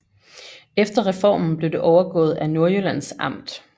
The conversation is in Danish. Efter reformen blev det overgået af Nordjyllands Amt